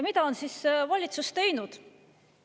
Mida on siis valitsus teinud?